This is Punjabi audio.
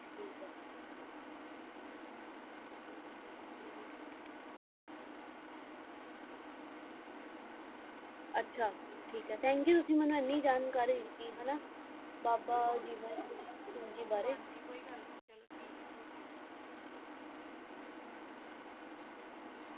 ਆਚਾ ਠੀਕ ਆਯ thank you ਤੁਸੀਂ ਮੇਨੂ ਆਨੀ ਜਾਣਕਾਰੀ ਦਿਤੀ ਬਾਬਾ ਜਿਵੇਂ ਸਿੰਘ ਜੀ ਬਾਰੇ ਹਾਂਜੀ ਕੋਈ ਗਲ ਨਾਈ ਠੀਕ ਆਯ ok